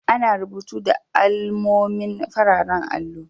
Ana rubutu da alamomi a'fararen allo.